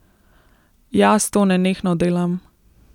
Jaz to nenehno delam.